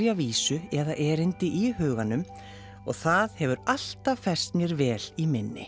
vísu eða erindi í huganum og það hefur alltaf fest mér vel í minni